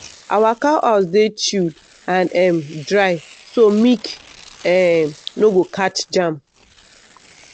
our cow house dey chill and um dry so milk um no go catch germ.